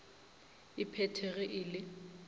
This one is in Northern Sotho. e phethe ge e le